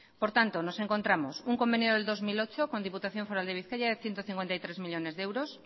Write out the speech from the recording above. por tanto nos encontramos un convenio del dos mil ocho con diputación foral de bizkaia de ciento cincuenta y tres millónes de euros